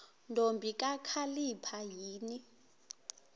ntombi kakhalipha yini